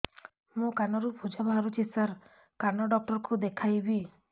ମୋ କାନରୁ ପୁଜ ବାହାରୁଛି ସାର କାନ ଡକ୍ଟର କୁ ଦେଖାଇବି